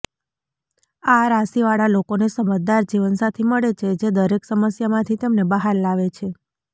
આ રાશિવાળા લોકોને સમજદાર જીવનસાથી મળે છે જે દરેક સમસ્યામાંથી તેમને બહાર લાવે છે